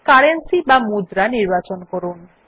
currency বা মুদ্রা নির্বাচন করুন